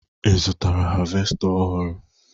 Ị zụtara havesta ọhụrụ?